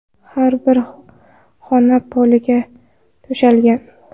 Har bir xona poliga to‘shalgan.